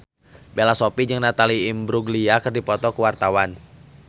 Bella Shofie jeung Natalie Imbruglia keur dipoto ku wartawan